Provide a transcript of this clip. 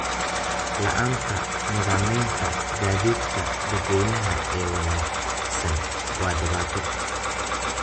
La'aanta nidaamyada gaadiidka dadweynaha ee wanaagsan waa dhibaato.